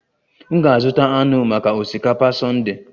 M ga-azụta anụ maka osikapa Sunday